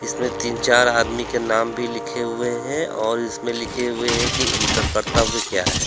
इसमें तीन चार आदमी के नाम भी लिखे हुए हैं और इसमें लिखे हुए हैं कि इनका कर्तव्य क्या है।